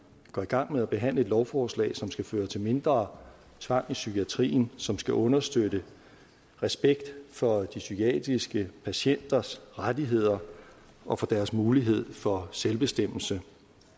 går i gang med at behandle et lovforslag som skal føre til mindre tvang i psykiatrien som skal understøtte respekt for de psykiatriske patienters rettigheder og for deres mulighed for selvbestemmelse